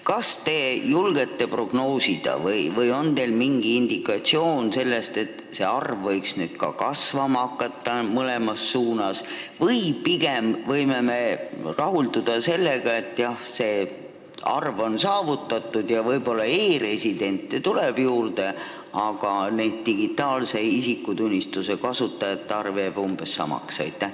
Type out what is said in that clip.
Kas te julgete prognoosida, kas see arv võiks nüüd mõlemas suunas kasvama hakata või võiksime pigem rahulduda sellega, et eesmärk on saavutatud – võib-olla tuleb e-residente juurde, aga digitaalse isikutunnistuse kasutajate arv jääb umbes samaks?